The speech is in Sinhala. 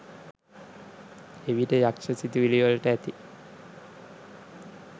එවිට යක්ෂ සිතිවිලි වලට ඇති